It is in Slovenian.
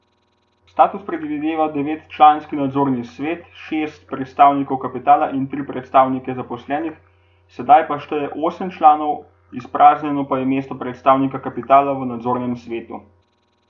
Status predvideva devetčlanski nadzorni svet, šest predstavnikov kapitala in tri predstavnike zaposlenih, zdaj pa šteje osem članov, izpraznjeno pa je mesto predstavnika kapitala v nadzornem svetu.